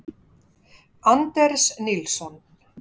Anders Nilsson.